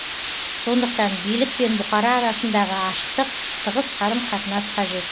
сондықтан билік пен бұқара арасындағы ашықтық тығыз қарым қатынас қажет